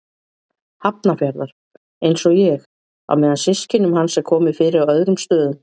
Hafnarfjarðar, einsog ég, á meðan systkinum hans er komið fyrir á öðrum stöðum.